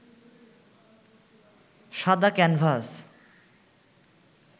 সাদা ক্যানভাস